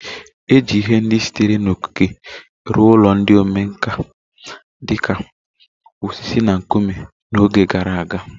E ji ihe ndị sitere na okike rụọ ụlọ ndị omenkà, dị ka osisi na nkume, na oge gara aga